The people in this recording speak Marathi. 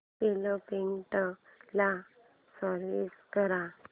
फ्लिपकार्टं ला स्विच कर